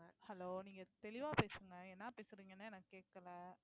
hello நீங்க தெளிவா பேசுங்க என்ன பேசுறீங்கன்னே எனக்கு கேட்கலை